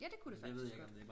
Ja det kunne det faktisk godt